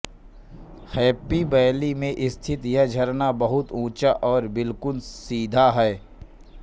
happy Valley में स्थित यह झरना बहुत ऊंचा और बिलकुल सीधा है